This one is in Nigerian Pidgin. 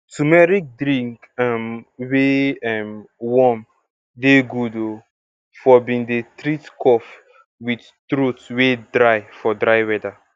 turmeric drink um wey um warm dey good um for bin dey treat cough with throat wey dry for dry weather